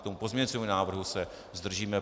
K tomu pozměňujícímu návrhu se zdržíme.